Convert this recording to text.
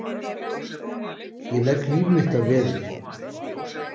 Ég legg líf mitt að veði.